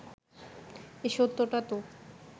এ সত্যটা তো